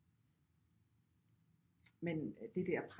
Men det der